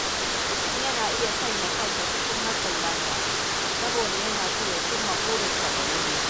Mutum yana iya sanya kansa cikin matsin lamba, saboda yana so ya cimma burinsa da wuri.